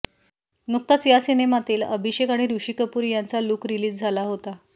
नुकताच या सिनेमातील अभिषेक आणि षी कपूर यांचा लूक रिलीज झाला होता